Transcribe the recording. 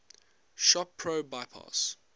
shop pro bypass